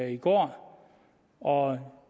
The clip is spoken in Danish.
i går og